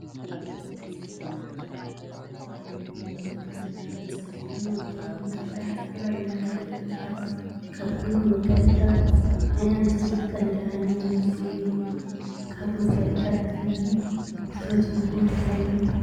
መጋየፂ፡- ደቂ ኣንስትዮ ካብቲ ዘለዎን መልክዕ ንላዕሊ ፀቢቐንን ወቂበንን ክረአያ ዝተፈላለዩ መጋየፂታት ይገብራ፡፡ ካብኩሎም መጋየፅታት ናይ ኣንስትዮ እቲ ቀንዲ ዓይነታት ወርቅ እዮም፡፡ ካብ መጋፂታት ቀንዲ ትፈትዎኦ እንታይ እዩ?